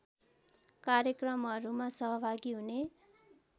कार्यक्रमहरूमा सहभागी हुने